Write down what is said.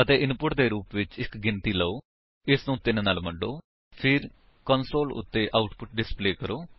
ਅਤੇ ਇਨਪੁਟ ਦੇ ਰੂਪ ਵਿੱਚ ਇੱਕ ਗਿਣਤੀ ਲਓ ਅਤੇ ਇਸਨੂੰ 3 ਨਾਲ ਵੰਡੋ ਫਿਰ ਕੰਸੋਲ ਉੱਤੇ ਆਉਟਪੁਟ ਡਿਸਪਲੇ ਕਰੋ